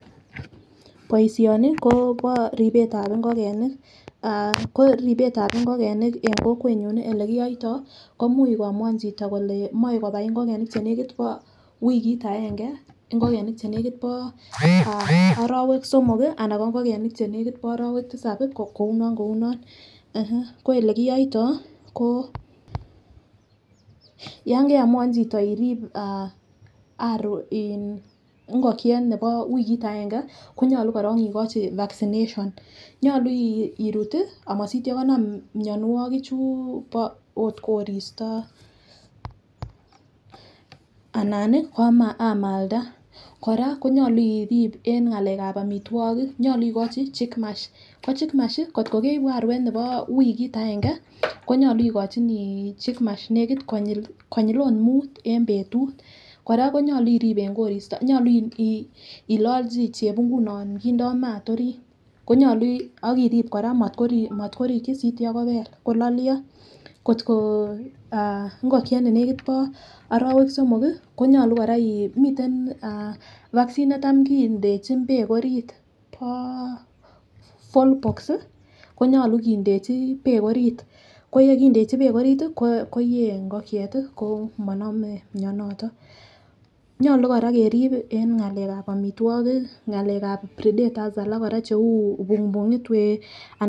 Boishoni Kobo ripetab ingokenik ah ko ripetab ingokenik en kokwenyun nii olekiyoito komui ko amuan chito kole moi kobai ingokenik chenekit bo wikit agenge ingokenik chenekit bo orowek somok kii anan ko ingokenik chenekit bo orowek tisabi kouno kouno eh. Ko olekiyoito ko yon keamuan chito in irib ah arok ingokiet nebo wikit agenge konyolu korong ikochi vaccination nyolu irut tii amosityo konam. Mionwokik chuu bo ot koristo anan nii ko amalda . Koraa konyolu irib en ngalekab omitwokik nyolu ikochi chik mash ko chick mash kotko keibu aruet nebo wiki agenge konyolu ikochinii chick mash nekit konyil ot mut en betut Koraa nyolu irib en koristo nyolu ilolchi chebungut non kindo mat orit konyolu ok irib Koraa motkoriki sityo kobel kololyo. Kotko ingokiet nenekit bo orowek somok kii konyolu koraa in miten vaccine netam kindechin beek orit bo born boxs sii konyolu kindechi beek orit, ko yekindechi beek orit tii koyee ngokiet tii komonome mionoton. Nyolu Koraa kerib en ngalekab omitwokik ngalekab predectors alak che bumungit wee ana..